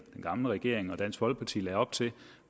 gamle regering og dansk folkeparti lagde op til jo